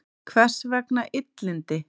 Hvers vegna illindi?